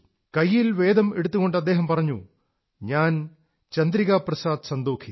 കൈയിൽ വേദം എടുത്തുകൊണ്ട് അദ്ദേഹം പറഞ്ഞു ഞാൻ ചന്ദ്രികാ പ്രസാദ് സന്തോഖീ